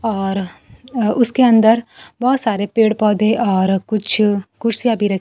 और उसके अंदर बहोत सारे पेड़ पौधे और कुछ कुर्सियां भी र--